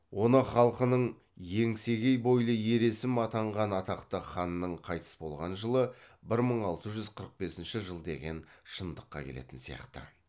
оны халқының еңсегей бойлы ер есім атанған атақты ханның қайтыс болған жылы бір мың алты жүз қырық бесінші жыл деген шындыққа келетін сияқты